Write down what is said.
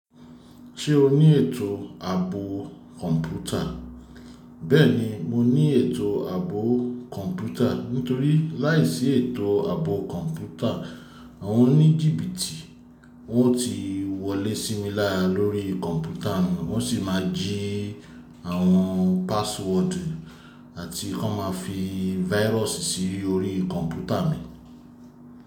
Ṣé o ní ètò àbọ̀ kọ̀ǹpútà? Bẹ́ẹ̀ni, mo ní ètò àbọ̀ kọ̀ǹpútà. Nítorí láìsí ètò àbọ̀ kọ̀ǹpútà, àwọn oní jìbìtì wọn ó ti wọlé sí mi lara lori kọ̀ǹpútà, wón sì máa jí àwọn password àti ki won máa fi virus sí orí kọ̀ǹpútà mi.